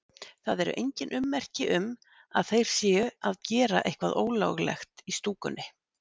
Það eru engin ummerki um að þeir séu að gera eitthvað ólöglegt í stúkunni.